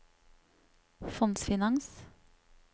fondsfinans